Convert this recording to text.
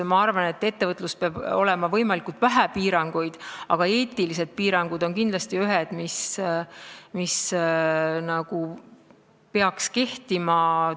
Ma arvan, et ettevõtluses peab olema võimalikult vähe piiranguid, aga eetilised piirangud on kindlasti ühed, mis peaksid kehtima.